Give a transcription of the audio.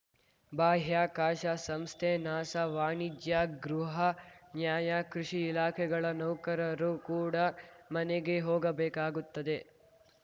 ಬಾಹ್ಯಾಕಾಶ ಸಂಸ್ಥೆ ನಾಸಾ ವಾಣಿಜ್ಯ ಗೃಹ ನ್ಯಾಯ ಕೃಷಿ ಇಲಾಖೆಗಳ ನೌಕರರು ಕೂಡ ಮನೆಗೆ ಹೋಗಬೇಕಾಗುತ್ತದೆ